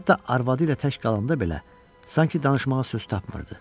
Hətta arvadı ilə tək qalanda belə sanki danışmağa söz tapmırdı.